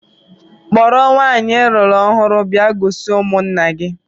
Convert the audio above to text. Kpọrọ nwaanyị I lụrụ ọhụụ bịa gosi ụmụnna gị!